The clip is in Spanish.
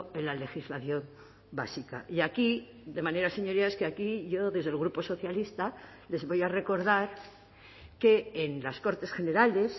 en la legislación básica y aquí de manera señorías que aquí yo desde el grupo socialista les voy a recordar que en las cortes generales